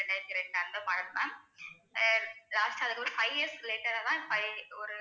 ரெண்டாயிரத்தி இரண்டு அந்த model ma'am ஆஹ் அதில ஒரு five years later ஆதான் five ஒரு